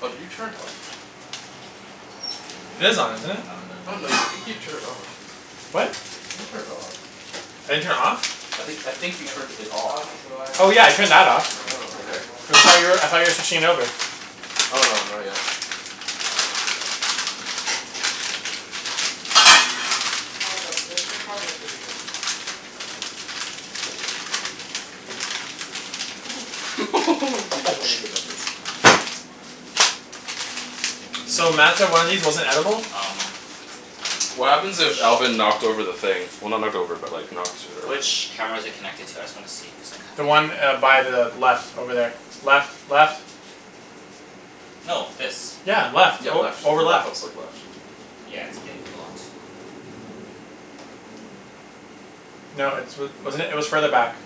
Oh, did you turn it off? Cuz It is on, BMWs, isn't it? outta the Oh three no, you, I luxury think you brands turned it off. What? BMW gets the I think you turned cheapest it off. when it gets older. I didn't turn it off? I That's think I true, think you but turned it off. Audi's Oh yeah, I reliability turned that off. standards are Oh, getting okay. a lot Cuz I better. thought you were, I thought you were switching over? Oh no, not yet. Audi's still relatively new. In the game. Yeah, but th- their cars are pretty good. Dude, I Oh, can't sh- even get this. So, Mat said one of these wasn't edible? Um What happens which if Alvin knocked over the thing? Well, not knocked over but like, knocked it around? which camera is it connected to? I just wanna see cuz The I one kinda uh, by the left over there. Left. Left. No, this. Yeah, left. Yeah, Oh, left. over The laptop's left. like left. Yeah, it's getting blocked. No, it's wa- wasn't it? It was further back.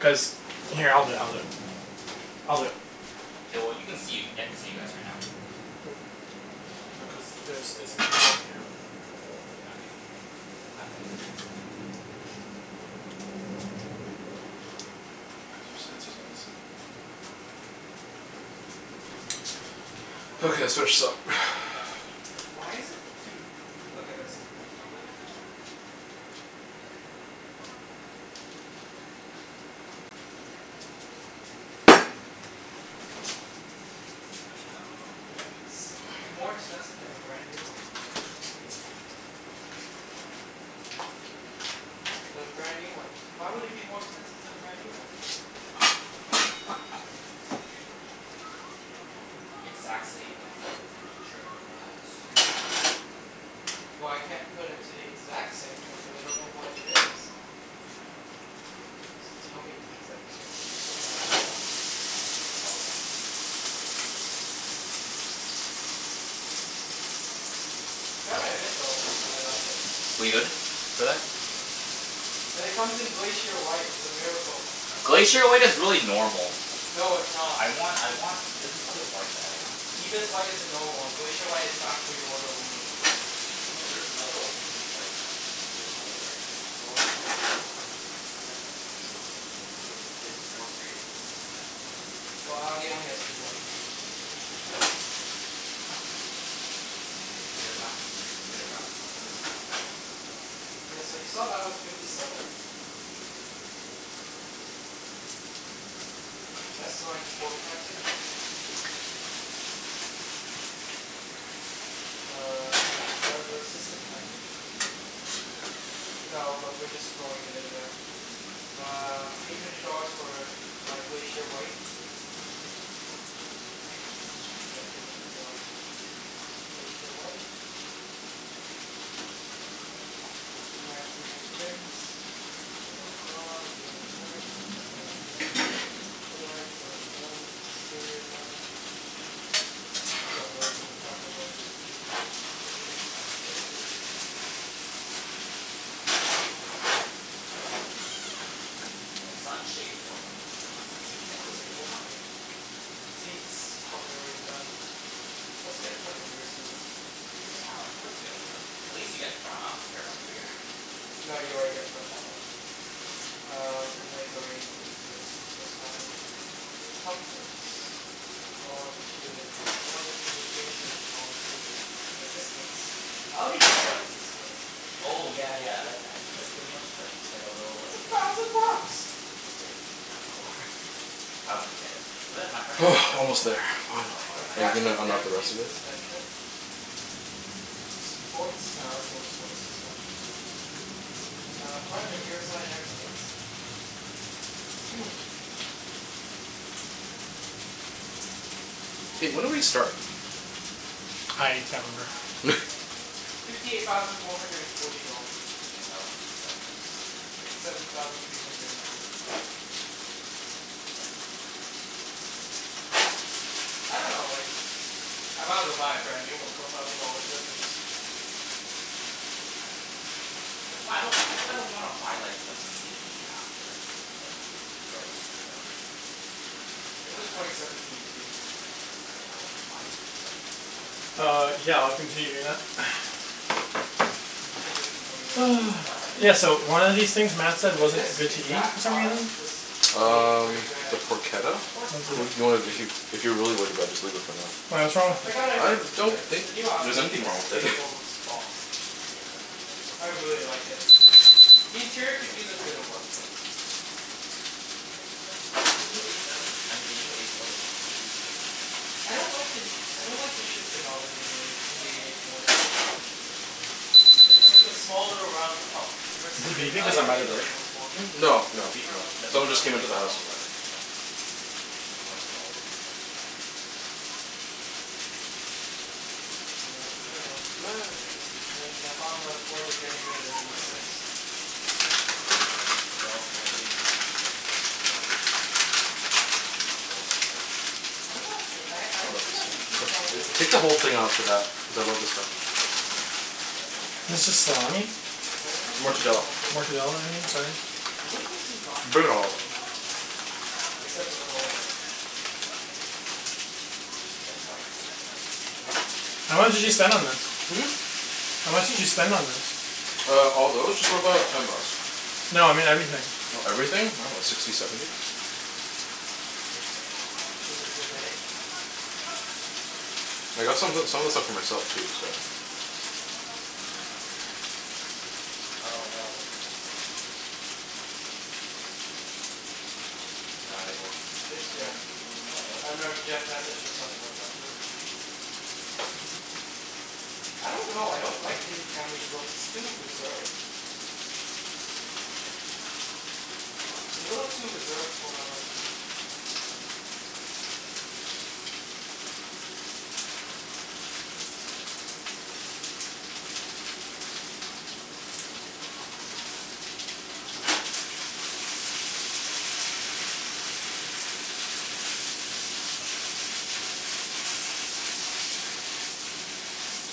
Cuz, here, I'll do it. I'll do it. I'll do it. K, well you can see. I can see you guys right now. Mm. No, cuz there's, it's a two port camera. Okay. My bad. Yeah. Cuz there's sensors on this side. Okay, let's finish this up. Why is it? Dude, look at this. What? It's more expensive to have a brand new one. I dunno why. Cuz twenty eighteen's about to come out? But a brand new one? Why would it be more expensive to have a brand new one? Exact same, like, trim and all that? Well, I can't put it to the exact same trim cuz I don't know what it is. You can find out. It doesn't tell me the exact trim cuz there's so many add-ons. Oh, yeah, probably add-ons then. Gotta admit though, I like it. We good for that? And it comes in Glacier White. It's a miracle. Glacier White is really normal. No, it's not. I want I want, there's another white that I want. It's Ibis White uh is the normal one. Glacier White is factory order only. No, there's another one that you can just like, um there's another white. I dunno, I forgot what it cal- what it's called. My friend sent me a picture once, though. His his four series is is that white. I Well, for- Audi only has two whites. Get a wrapped exter- get it wrapped from another company. Yeah, so you saw that was fifty seven. S Line Sport Package. Uh, advanced driver assistant package. Do you really need that? No, but we're just throwing it in there. Uh, eight hundred dollars for my Glacier White. Error message. Yeah, cuz I clicked the wrong thing. Glacier White. Nineteen inch rims. Blah blah blah. Wheels and tires. I think that's already done. Headlights, already done. Exterior done. Roof. Don't really give a crap about the win- For the rear? No, get air for the rear seat, too. Why? Why? Oh, sun shades? Oh, no no no, not sun sage. Yeah, I was like, "Why?" Seats, probably already done. Let's get front and rear seating. Re- reseat. Yeah, of course you get front. At least you get front. I don't care about rear. No, you already get front auto. Um, inlay's already included in the s p s package. Comfort. All included. Audio communication, all included. Assistance. Audi head up display? Oh, yeah yeah, I like that. It's like, pretty much it's like, it's like a little It's a like thousand bucks! Yeah, it's it's kinda not worth I wouldn't get it. But then my friend has it for his four Almost there. series, cuz it was Finally. Are you automatically gonna Adaptive unwrap the dampening rest of this? suspension. Sports, nah, let's go with sports suspension. Uh, front and rearside airbags. Hey, when did we start? I can't remember. Fifty eight thousand four hundred and forty dollars. What was that one? Fifty seven something? Fifty seven thousand three hundred and nine. Yeah. Demos. I don't know, like, I might as well buy a brand new one for a thousand dollars difference. Well, I dunno. I'd That's why I don't, that's why I don't wanna buy like, immediately after like, the y- right when it comes out. This is Like, twenty I I seventeen, too. Yeah, I know. Like, I I wouldn't buy a twenty seventeen car right now. Uh, yeah. I'll continue doing that. I'd give it a few more years. Like, even if I had Yeah, money so right now, I one of don't these think things I'd Mat said buy If wasn't this good to eat, exact for some car reason? was maybe thirty Um, grand? the I'd do it. Yeah, of porchetta? course. What's T- Well, I'd it do you wanna, it, too. if you If you're really worried about it, just leave it for now. Why, Eek- what's wrong I with I it? gotta I give them don't creds. think The new Audi there's l- anything wrong S with A it. four looks bomb. Yeah, I like the new A four I by really Audi. like it. The interior could use a bit of work, though. Mm, I I like the new A seven, I mean the new A four they completely redesigned everything. I don't like the n- I don't like the shifter knob in the new a for- in the A fours. The shifter knob is, it I- it's it's like a like a s- small little round pub. Is Versus it the, I beeping like cuz the I'm by the door? BMW ones more. Hmm? No, The no, beamer no. one, the Someone beamer just ones, came like, into the no house. one will ever touch that. Beamer ones will always be the best at that. Yeah. I dunno. And then the Honda Accord, they're getting rid of the V six. Yeah, cuz every every, they're all, every company's going towards like, four engines. Or four cylinder engines. What about a Toyo- I I don't Love see this that many stuff. Tu- people s- buying e- Toyota Take the whole Camrys. thing off of that. Cuz I love this stuff. Uh, I yeah, the only Camrys I It's see are just really old salami? ones. I haven't seen newer Mortadella. ones lately. Mortadella I mean, sorry. No one seems to be buying Bring it all Toyota out. lately. Except for Corollas. Jeff's part of civic nation now. How much did you spend on this? Hmm? How much did you spend on this? Uh, all Oh, those? I Just got a about call. ten bucks. No, I mean everything. Oh, everything? I dunno. Sixty, seventy? Is it the bay? I got some o- some of the What? stuff for myself, too, so Oh, no, what the heck? No, it was It's Jeff. No, it Uh wasn't no, Jeff messaged us on the WhatsApp group. I don't know. I don't like the new Camry's look. It's too reserved. It's a little too reserved for my liking.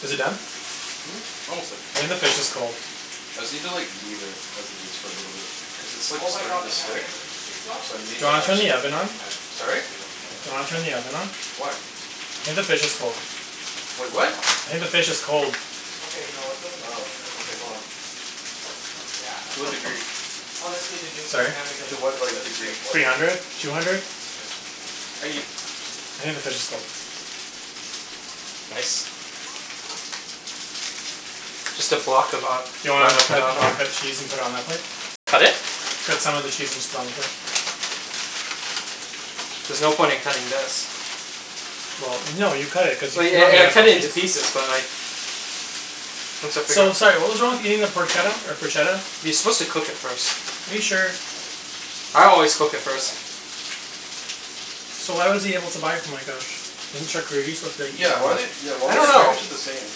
Is it done? Hmm? Almost there. I think the fish is cold. I just need to like, leave it as it is for a little bit. Cuz it's like, Oh my god, starting the to Camry stick. has a V six So I option Do need you still? to wanna turn the actually oven on? I would st- I would, Sorry? still wouldn't get it. Do you wanna turn the oven on? Why? I think the fish is cold. Wait, Why what? not? I think the fish is cold. Okay, no, it doesn't look Oh. that good. Okay, hold on. Cuz it's takes so much more gas. To what Yeah. degree? Honestly, the new, the Sorry? Camry doesn't To look what, as like, good as the degree? Accord. Three hundred. Two hundred? Okay. Are you I think the fish is cold. Nice. Just a block of a- Do you want me Grana to cut, Padano. want me to cut cheese and put it on that plate? Cut it? Cut some of the cheese and just put it on the plate. There's no point in cutting this. Well no, you cut it. Cuz you Well ye- e- cut it can't a into piece. pieces, but like once I figure So, out sorry what was wrong with eating the Porchetta, or Proshetta? You're supposed to cook it first. Are you sure? I always cook it first. So why was he able to buy it from like, a sh- isn't charcuterie supposed to be Yeah, why like they, eaten why I would don't they know. package it the same?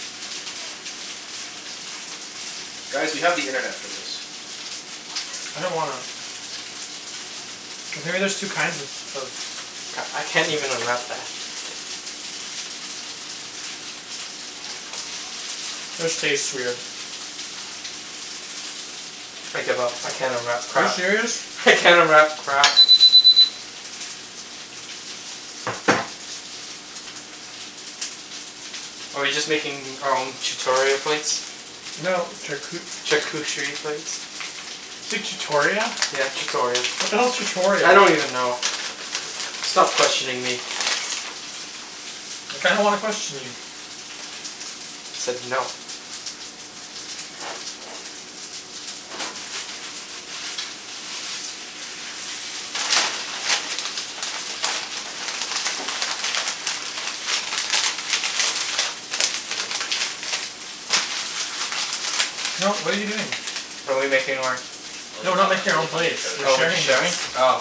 Guys, we have the internet for this. I don't wanna. Cuz maybe there's two kinds of of C- I can't even unwrap that. This tastes weird. I give up. I can't unwrap Are you crap. serious? I can't unwrap crap. Are we just making our own chutoria plates? No, charcu- Charcucherie plates? Say chutoria? Yeah, chutoria. What the hell's chutoria? I don't even know. Stop questioning me. I kinda wanna question you. I said no. No, what are you doing? Are we making our Oh, No, we're Ibs, I not have something making our really own funny to plates. show you. We're Oh, we'll be sharing sharing? this. Oh.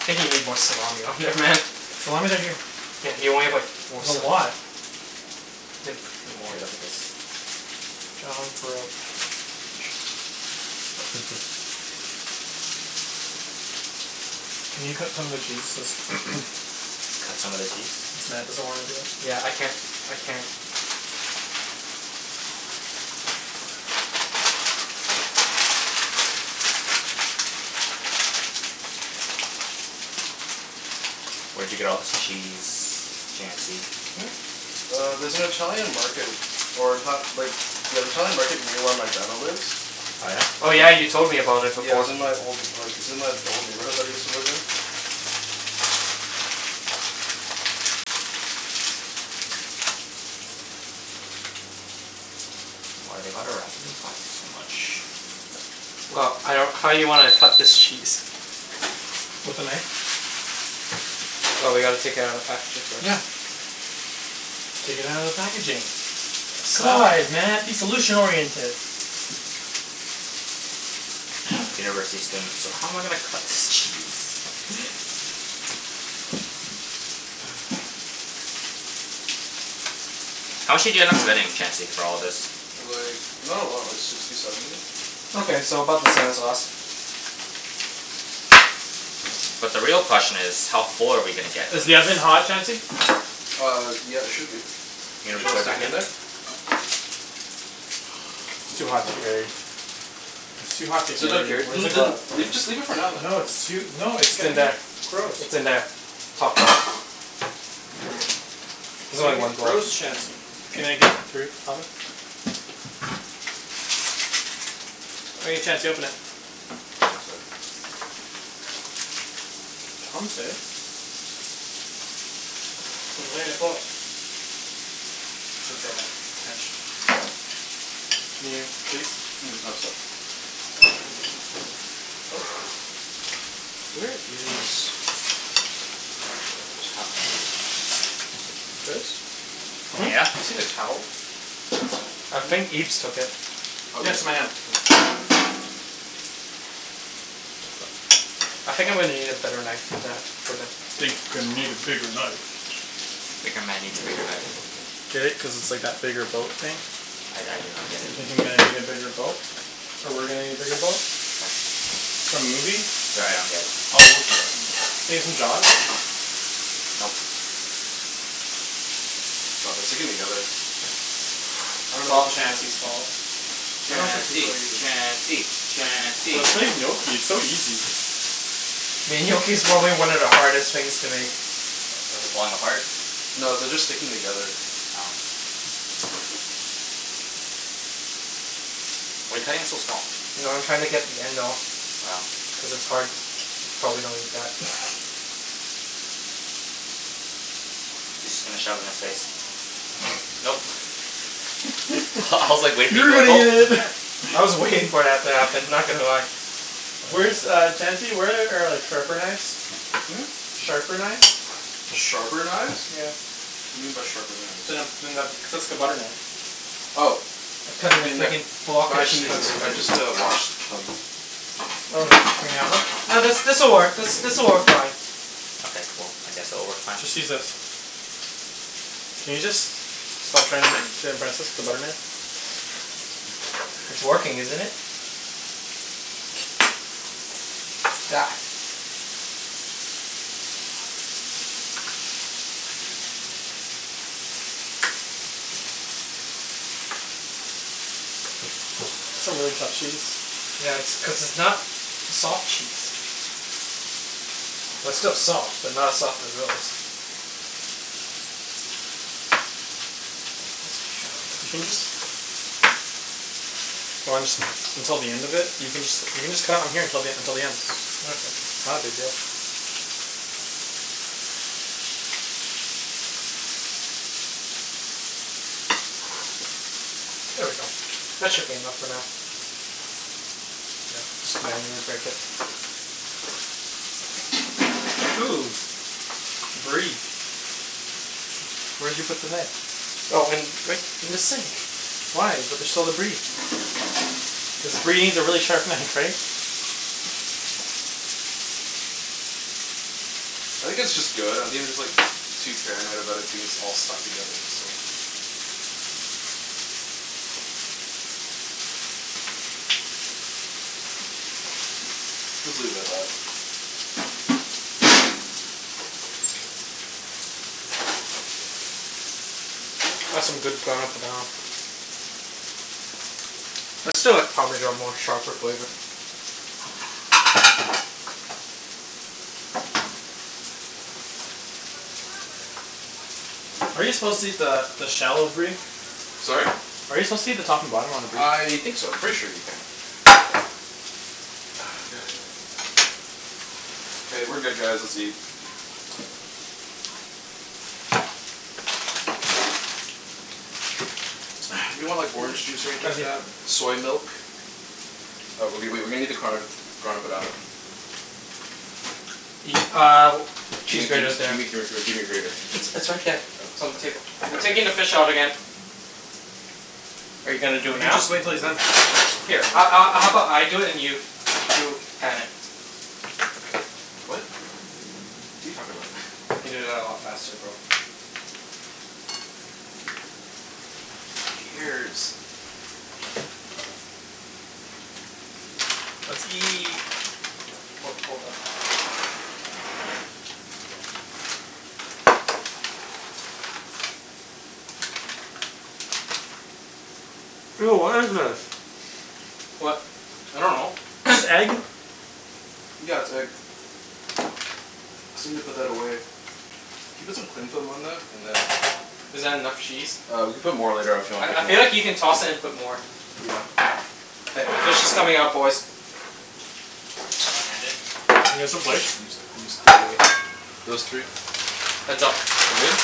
I think you need more salami on there, man. Salami's right here. Yeah, you only have like, four There's a sli- lot. Better put a few more. Here, look at this. John Can you cut some of the cheese so s- Cut some of the cheese? since Mat doesn't wanna do it. Yeah, I can't, I can't. Where'd you get all this cheese, Chancey? Hmm? Uh, there's an Italian market or in ta- like Yeah, the Italian market near where my grandma lives. Oh yeah? Oh yeah, you An- told me about it Yeah, it before. was in my old like, it's in my, the old neighborhood that I used to live in. Why do they gotta wrap it in plastic so much? Well, I don't, how you wanna cut this cheese? With a knife. Oh, we gotta take it outta the packaging first. Yeah. Take it outta the packaging. Sa- God, Mat, be solution oriented. University students. So how am I gonna cut this cheese? How much did you end up spending, Chancey, for all of this? Like, not a lot. Like, sixty, seventy. Okay, so about the same as last. But the real question is how full are we gonna get from Is the oven this? hot, Chancey? Uh, yeah, it should be. Are you Did gonna you re- wanna put it stick back it in in? there? It's too hot to carry. It's too hot to So don't care, carry. Where's n- the th- n- glove? Leave, just leave it for now, No, then. it's too, no, it's It's in there. I- Gross. it's in there. Top drawer. It's There's only gonna one get glove. gross, Chancey. Can I get through? Oven. All right, Chancey, open it. One sec. Chancey. I shouldn't say that. French. Can you, please? Mm? Oh, sor- Ooh. Where is a towel? Guys? Hmm? Yeah? Seen a towel? I think Ibs took it. Oh, Yeah, it's Ibs in my hand. Oh, thank you. I think I'm gonna need a better knife than that for the Think I need a bigger knife. Bigger man needs a bigger knife. Get it? Cuz it's like that bigger boat thing? I I do not get it. Thinking that I need a bigger boat. Or we're gonna need a bigger boat. Nope. For movies. Sorry, I don't get it. Oh Nope. God, they're sticking together. I don't It's know all what to do. Chancey's fault. Chancey! Chancey! Chancey! Let's make gnocchi. It's so easy. Mean gnocchi's probably one of the hardest things to make. What, is it falling apart? No, they're just sticking together. Oh. Why are you cutting it so small? No, I'm trying to get the end off. Oh. Cuz it's hard. Probably don't eat that. He's just gonna shove it in his face. Nope. I I was like, waiting for you to go gulp. I was waiting for that to happen. Not gonna lie. Where's Uh. uh, Chancey? Where are like sharper knives? Hmm? Sharper knives? Sharper knives? Yeah. What do you mean by sharper knives? Then a, than the, just a butter knife. Oh. I'm They'll cutting a be in there. fricking block But of I just cheese. cuts, I just uh washed them. Oh, in the oven? No, this this'll work, this this'll work fine. Okay, cool. I guess it'll work fine. Just use this. Can you just stop trying to impress us with a butter knife? It's working, isn't it? I don't know what you expect to me. That's a really tough cheese. Yeah, it's cuz it's not soft cheese. Well, it's still soft, but not as soft as those. You can just Why don't just until the end of it? You can jus- you can just cut it on here till the until the end. Okay. Not a big deal. There we go. That should be enough for now. Yeah, just Just manually manually break break it. it. Ooh. Brie. Where'd you put the knife? Oh in, right in the sink. Why? But there's still the brie. Cuz brie needs a really sharp knife, right? I think it's just good. I think I'm just like too paranoid about it being s- all stuck together, so Let's leave it at that. That's some good Grana Padano. I still like parmesan more. Sharper flavor. Are you supposed to eat the the shell of brie? Sorry? Are you supposed to eat the top and bottom on the brie? I think so. I'm pretty sure you can. Ah, god. K, we're good guys. Let's eat. Anyone want like orange juice or anything like Chancey. that? Soy milk? Uh, w- w- wait. We're gonna need the card Grana Padano. Eat uh, cheese Gimme gimme grater's g- there. gimme gr- gr gimme your grater. It's it's right there. It's Oh. on the table. I'm taking the fish out again. Are you You gonna can do it now? just wait until he's done. Here a- a- how about I do it and you you pan it? What? What are you talking about? I can do that a lot faster, bro. Fucking ears. Let's eat. Hold on. Ho- hold up. Ew, what is this? What? I dunno. This egg? Yeah, it's egg. Just need to put that away. Can you put some cling film on that? And then Is that enough cheese? Uh, we can put more later af- you want, I if I you feel want. like you can toss it and put more. Yeah. K, fish is coming out, boys. You gonna one hand it? Can I get some K, plates? use these three. Those three. Heads up. We good?